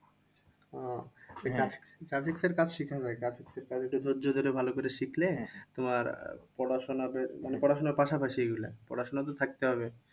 ওহ graphics এর কাজ শিখা যায়। graphics এর কাজ যদি ভালো করে শিখলে তোমার পড়াশোনা বেশ মানে পড়াশোনার পাশাপাশি এগুলো। পড়াশোনা তো থাকতে হবে